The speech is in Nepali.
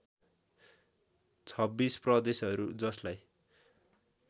२६ प्रदेशहरू जसलाई